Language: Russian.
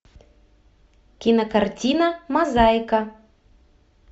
кинокартина мозаика